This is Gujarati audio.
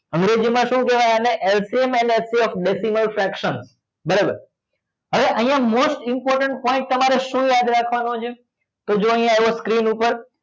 અંગ્રેજી માં શું કેવાય એન section બરોબર હવે અહિયાં most important point તમારે શું યાદ રાખવા નો છે તો જોવો આવો અહિયાં screen પર